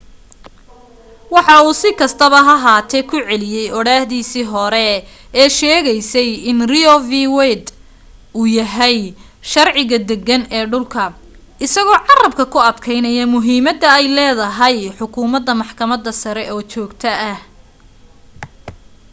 waxa uu si kastaba ha ahaatee ku celiyay odhaahdiisii hore ee sheegaysay in roe v. wade uu yahay sharciga deggan ee dhulka isagoo carrabka ku adkaynaya muhiimadda ay leedahay xukumadda maxkamadda sare oo joogto ah